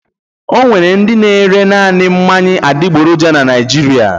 Ọ nwere ndị na-ere naanị mmanya adịgboroja na Naịjirịa.